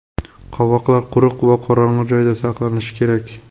Qovoqlar quruq va qorong‘i joyda saqlanishi kerak.